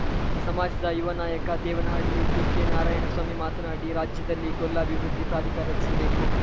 ಸಮಾಜದ ಯುವ ನಾಯಕ ದೇವನಹಳ್ಳಿ ಬಿಕೆನಾರಾಯಣ ಸ್ವಾಮಿ ಮಾತನಾಡಿ ರಾಜ್ಯದಲ್ಲಿ ಗೊಲ್ಲ ಅಭಿವೃದ್ಧಿ ಪ್ರಾಧಿಕಾರ ರಚಿಸಬೇಕು